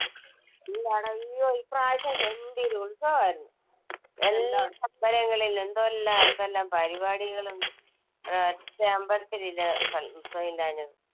എല്ലാടോം ഇയ്യോ, ഇപ്രാവശ്യം ഗംഭീര ഉത്സവം ആയിരുന്നു, എല്ലാ അമ്പലങ്ങളിലും. എന്തെല്ലാം എന്തെല്ലാം പരിപാടികളും ഒരു ഒറ്റ അമ്പലത്തിൽ ഇല്ല ഉത്സവം ഇല്ലാഞ്ഞത്.